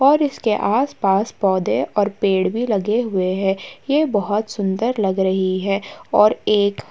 और इसके आस-पास पौधे और पेड़ भी लगे हुए हैं। ये बोहोत सुंदर लग रही है और एक --